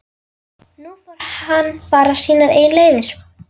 Nú fór hann bara sínar eigin leiðir.